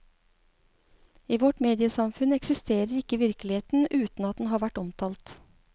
I vårt mediesamfunn eksisterer ikke virkeligheten uten å at den har vært omtalt.